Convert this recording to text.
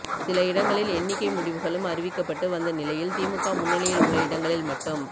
சில இடங்களில் எண்ணிக்கை முடிவுகளும் அறிவிக்கப்பட்டு வந்த நிலையில் திமுக முன்னிலையில் உள்ள இடங்களில் மட்டும்